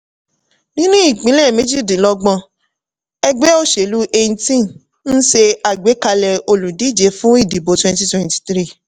nínú ìpínlẹ̀ méjìdínlogbon ẹgbẹ́ òṣèlú 18 ń ṣe àgbékalẹ̀ olùdíje fún ìdìbò 2023.